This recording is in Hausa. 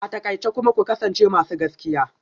A takaice kuma ku kasance masu gaskiya